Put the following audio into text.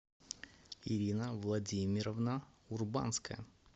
ирина владимировна урбанская